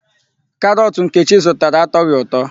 Karọọtụ Nkechi zụtara atọghị ụtọ.